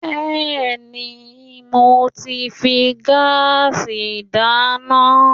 Bẹ́ẹ̀ni, mo ti ń fi gáàsì dáná